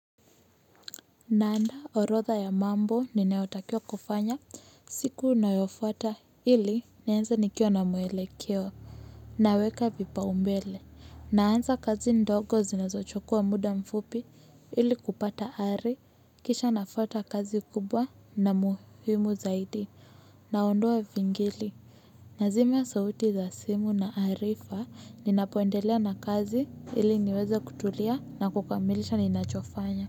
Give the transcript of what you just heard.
Naandaa orodha ya mambo ninaotakia kufanya siku unayofuata ili nianze nikiwa na mwelekeo. Naweka vipaumbele. Naanza kazi ndogo zinazochukua muda mfupi ili kupata hari. Kisha nafuata kazi kubwa na muhimu zaidi. Naondoa vingili. Nazima sauti za simu na arifa ninapoendelea na kazi ili niweze kutulia na kukamilisha ninachofanya.